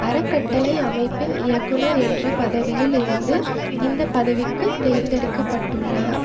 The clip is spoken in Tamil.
அறக்கட்டளை அமைப்பின் இயக்குனர் என்ற பதவியில் இருந்து இந்த பதவிக்கு தேர்ந்தெடுக்க பட்டுள்ளார்